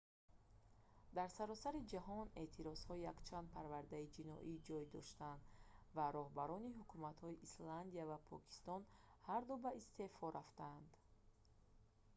дар саросари ҷаҳон эътирозҳо якчанд парвандаи ҷиноӣ ҷой доштанд ва роҳбарони ҳукуматҳои исландия ва покистон ҳарду ба истеъфо рафтанд